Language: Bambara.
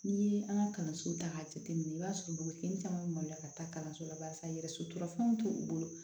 N'i ye an ka kalansow ta k'a jateminɛ i b'a sɔrɔ dugukisɛ caman bɛ maloya ka taa kalanso la barisa yɛrɛ sotrafanw t'o bolo